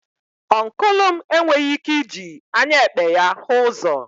Ọncụl m enweghị ike iji anya ekpe ya hụ ụzọ.